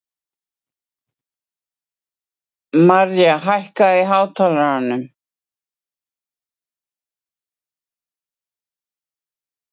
Marja, hækkaðu í hátalaranum.